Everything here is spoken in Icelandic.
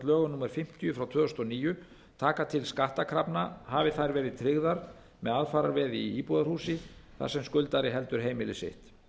lögum númer fimmtíu tvö þúsund og níu tekur til skattkrafna hafi þær verið tryggðar með aðfararveði í íbúðarhúsi þar sem skuldari heldur heimili sitt